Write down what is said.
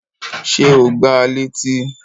Ṣé o gbá a létí?